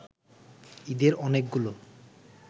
ঈদের অনেকগুলো